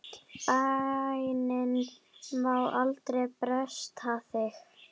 Bænin má aldrei bresta þig!